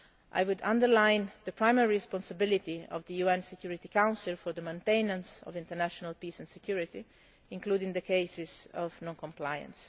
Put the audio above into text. regime. I would stress the primary responsibility of the UN Security Council for maintenance of international peace and security, including the cases of non compliance.